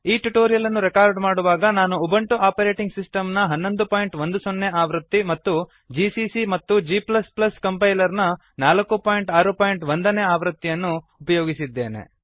ಈ ಟ್ಯುಟೋರಿಯಲ್ ಅನ್ನು ರೆಕಾರ್ಡ್ ಮಾಡುವಾಗ ನಾನು ಉಬುಂಟು ಆಪರೇಟಿಂಗ್ ಸಿಸ್ಟಮ್ ನ 1110 ನೇ ಆವೃತ್ತಿ ಮತ್ತು ಜಿಸಿಸಿ ಮತ್ತು g ಕಂಪೈಲರ್ ನ 461 ನೇ ಆವೃತ್ತಿಯನ್ನು ಅನ್ನು ಉಪಯೋಗಿಸಿದ್ದೇನೆ